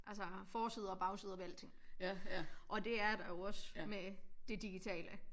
Altså forsider og bagsider ved alting og det er der jo også med det digitale